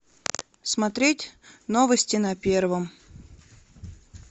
смотреть новости на первом